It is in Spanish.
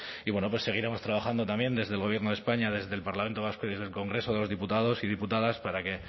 y bueno pues seguiremos trabajando también desde el gobierno de españa desde el parlamento vasco y desde el congreso de los diputados y diputadas para que